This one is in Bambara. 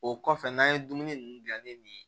O kɔfɛ n'an ye dumuni ninnu dilan ni nin ye